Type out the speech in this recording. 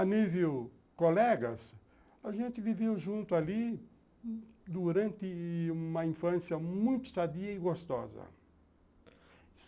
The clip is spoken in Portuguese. A nível colegas, a gente viveu junto ali durante uma infância muito sadia e gostosa.